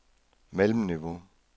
mellemniveau